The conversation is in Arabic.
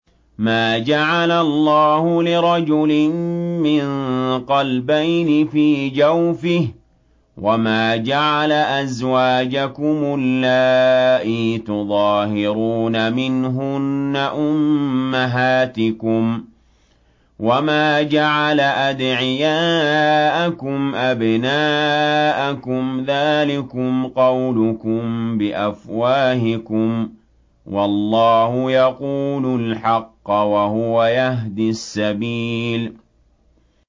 مَّا جَعَلَ اللَّهُ لِرَجُلٍ مِّن قَلْبَيْنِ فِي جَوْفِهِ ۚ وَمَا جَعَلَ أَزْوَاجَكُمُ اللَّائِي تُظَاهِرُونَ مِنْهُنَّ أُمَّهَاتِكُمْ ۚ وَمَا جَعَلَ أَدْعِيَاءَكُمْ أَبْنَاءَكُمْ ۚ ذَٰلِكُمْ قَوْلُكُم بِأَفْوَاهِكُمْ ۖ وَاللَّهُ يَقُولُ الْحَقَّ وَهُوَ يَهْدِي السَّبِيلَ